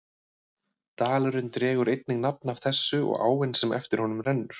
Dalurinn dregur einnig nafn af þessu og áin sem eftir honum rennur.